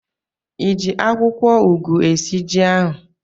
Ị ji akwụkwọugwu esi ji ọhụ̣ụ?